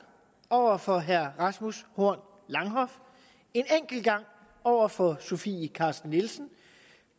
over for herre rasmus horn langhoff en enkelt gang over for sofie carsten nielsen